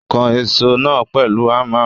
Ó kan èsó náà pèlu Hámà.